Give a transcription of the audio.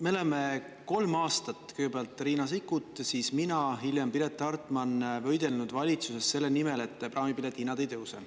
Me oleme kolm aastat, kõigepealt Riina Sikkut, siis mina, hiljem Piret Hartman võidelnud valitsuses selle nimel, et praamipiletite hinnad ei tõuse.